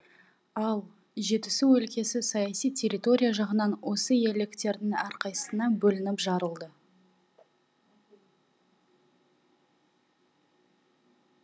ал жетісу өлкесі саяси территория жағынан осы иеліктердің әрқайсысына бөлініп жарылды